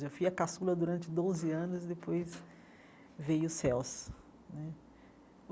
Eu já fui a caçula durante doze anos, e depois veio o Celso.